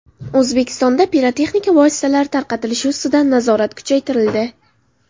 O‘zbekistonda pirotexnika vositalari tarqalishi ustidan nazorat kuchaytirildi.